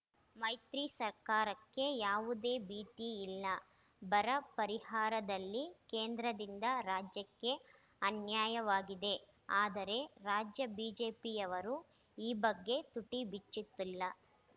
ಮೈತ್ರಿ ಸರ್ಕಾರಕ್ಕೆ ಯಾವುದೇ ಭೀತಿ ಇಲ್ಲ ಬರ ಪರಿಹಾರದಲ್ಲಿ ಕೇಂದ್ರದಿಂದ ರಾಜ್ಯಕ್ಕೆ ಅನ್ಯಾಯವಾಗಿದೆ ಆದರೆ ರಾಜ್ಯ ಬಿಜೆಪಿಯವರು ಈ ಬಗ್ಗೆ ತುಟಿ ಬಿಚ್ಚುತ್ತಿಲ್ಲ